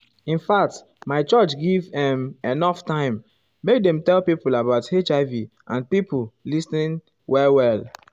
infact my church give[um]enough time make dem tell pipo about hiv and pipo lis ten well well.